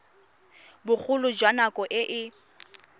bogolo jwa nako e e